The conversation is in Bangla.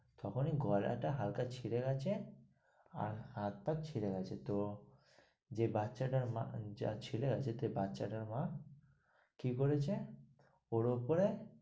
তখনি গলা টা হালকা ছিড়ে গেছে, আর হাত পা ছিলে গেছে তো, যে বাচ্চা টার মা, যার ছেলে আছে, বাচ্চা তা মা কি করেছে? ওর উপরে,